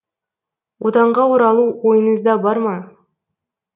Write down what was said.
отанға оралу ойыңызда бар ма